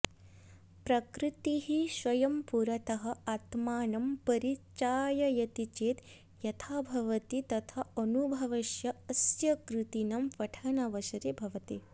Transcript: प्रकृतिः स्वयं पुरतः आत्मानं परिचाययति चेत् यथा भवति तथा अनुभवस्य अस्य कृतीनां पठनावसरे भवति